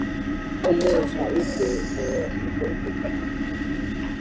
Hann sá móður sína úti við í hópi kvenna.